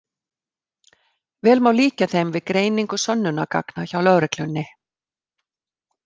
Vel má líkja þeim við greiningu sönnunargagna hjá lögreglunni.